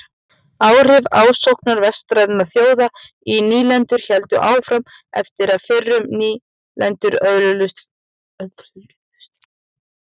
Áhrif ásóknar vestrænna þjóða í nýlendur héldu áfram eftir að fyrrum nýlendur öðluðust formlegt sjálfstæði.